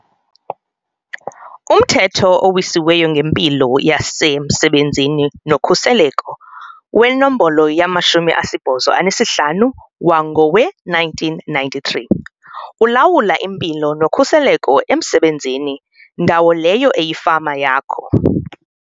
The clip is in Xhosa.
Umthetho oWisiweyo ngeMpilo yasemSebenzini noKhuseleko weNombolo yama-85 wangowe-1993, ulawula impilo nokhuseleko emsebenzini, ndawo leyo eyifama yakho.